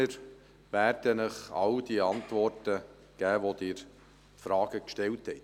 Wir werden Ihnen all die Antworten auf die Fragen geben, die Sie gestellt haben.